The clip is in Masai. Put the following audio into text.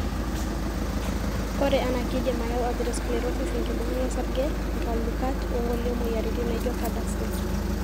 Ore ena keidim ayau atherosclerosis, enkibungai osarge(nkalukat)wongulie moyiaritin naijo CADASIL.